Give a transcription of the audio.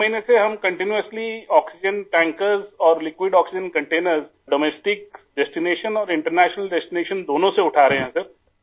سر پچھلے ایک مہینے سے ہم مسلسل آکسیجن ٹینکر ، رقیق آکسیجن کنٹینر ، گھریلو مقامات سے اور بین الاقوامی مقامات سے ، دونوں جگہ سے اٹھا رہے ہیں